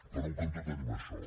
per un cantó tenim això